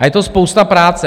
A je to spousta práce.